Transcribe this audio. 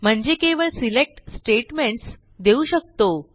म्हणजे केवळ select statements देऊ शकतो